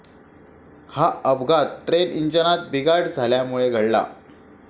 हा अपघात ट्रेंट इंजिनात बिघाड झाल्यामुळे घडला.